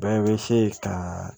Bɛɛ bɛ se ka